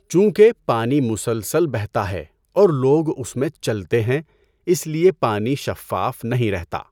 چونکہ پانی مسلسل بہتا ہے اور لوگ اس میں چلتے ہیں اس لیے پانی شفاف نہیں رہتا۔